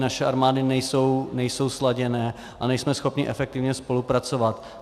Naše armády nejsou sladěné a nejsme schopni efektivně spolupracovat.